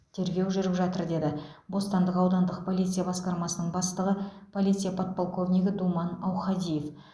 тергеу жүріп жатыр деді бостандық аудандық полиция басқармасының бастығы полиция подполковнигі думан аухадиев